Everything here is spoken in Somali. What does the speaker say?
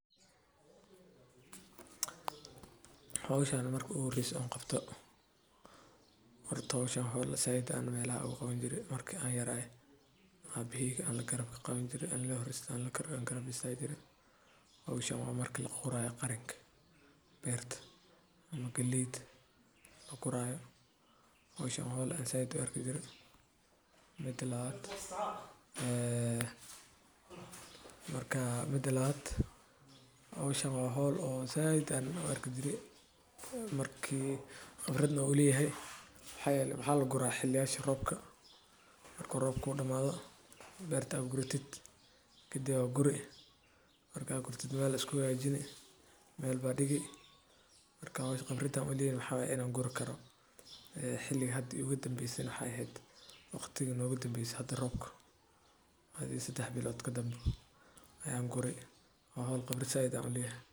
Howshan marki igu horese aan qabto ,zaid ayan oga helaa Waxaa kaloo la qodayaa si loo isku daro bacriminta dabiiciga ah sida digada ama humus-ka, taasoo kor u qaadda nafaqada dhirta. Dhulka la qodayo waa inuu noqdaa mid siman, aan biyo ku daahin, isla markaana aan aad u qalloocnayn. Waxaa la adeegsan karaa qalab sida fargeeto, dab-dab, ama matoor beereed iyadoo la eegayo baaxadda dhulka. Marka dhul si wanaagsan.